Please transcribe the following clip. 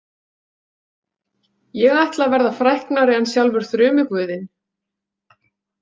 Ég ætla að verða fræknari en sjálfur þrumuguðinn.